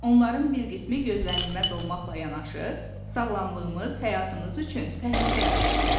Onların bir qismi gözlənilməz olmaqla yanaşı, sağlamlığımız, həyatımız üçün təhlükə yarada bilər.